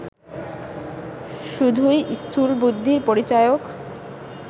শুধুই স্থূলবুদ্ধির পরিচায়ক